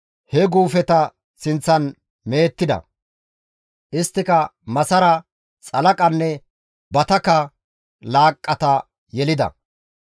he guufeta sinththan mehettida; isttika masara, xalaqanne battaka laaqqata yelida.